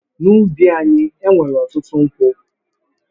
N’ubi anyị, e nwere ọtụtụ nkwụ.